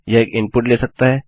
यह एक इनपुट ले सकता है